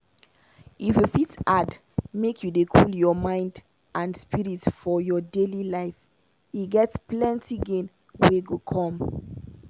if you fit add make you dey cool your mind and spirit for your daily life e get plenty gain wey go come.